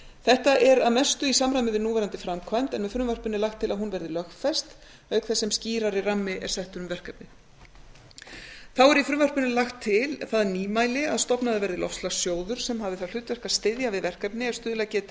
þetta er að mestu í samræmi við núverandi framkvæmd en með frumvarpinu er lagt til að hún verði lögfest auk þess sem skýrari rammi er settur um verkefnið þá er í frumvarp lagt til það nýmæli að stofnaður verði loftslagssjóður sem hafi það hlutverk að styðja við verkefni er stuðlað geti